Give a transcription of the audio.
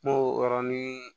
N'o yɔrɔnin